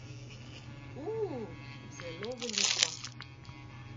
U, zelo veliko.